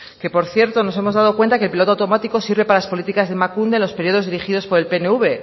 que por cierto nos hemos dado cuenta de que el piloto automático sirve para las políticas de emakunde en los periodos dirigidos por el pnv